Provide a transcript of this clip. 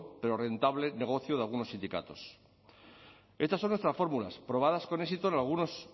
pero rentable negocio de algunos sindicatos estas son nuestras fórmulas probadas con éxito en algunos